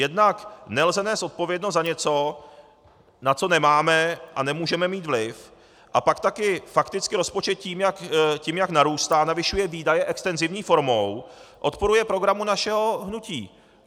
Jednak nelze nést odpovědnost za něco, na co nemáme a nemůžeme mít vliv, a pak taky fakticky rozpočet tím, jak narůstá, navyšuje výdaje extenzivní formou, odporuje programu našeho hnutí.